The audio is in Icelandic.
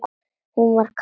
Hún var kát.